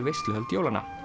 veisluhöld jólanna